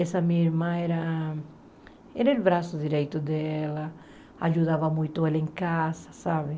Essa minha irmã era... Era o braço direito dela, ajudava muito ela em casa, sabe?